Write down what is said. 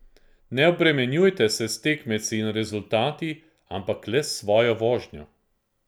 Ne obremenjuje se s tekmeci in rezultati, ampak le s svojo vožnjo.